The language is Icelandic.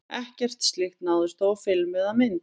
Ekkert slíkt náðist þó á filmu eða mynd.